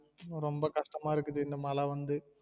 ரொம்ப கஷ்டமா இருக்குது இந்த மழ வந்து